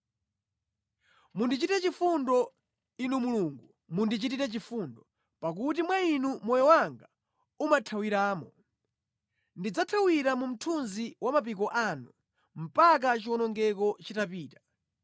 Mundichitire chifundo, Inu Mulungu mundichitire chifundo, pakuti mwa Inu moyo wanga umathawiramo. Ndidzathawira mu mthunzi wa mapiko anu mpaka chiwonongeko chitapita.